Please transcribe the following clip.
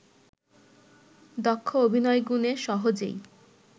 দক্ষ অভিনয়গুণে সহজেই